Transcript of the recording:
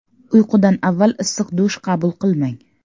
Uyqudan avval issiq dush qabul qilmang.